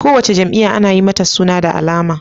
Kowace jam'iya Ana Yi mata suna da alama